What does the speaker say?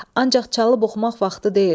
Ancaq çalıb oxumaq vaxtı deyil.